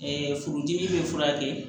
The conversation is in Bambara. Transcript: furudimi bɛ furakɛ